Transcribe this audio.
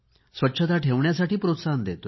स्वच्छता ठेवण्यासाठी प्रोत्साहन देतो